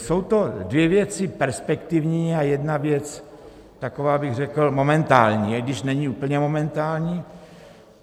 Jsou to dvě věci perspektivní a jedna věc taková, bych řekl, momentální, i když není úplně momentální.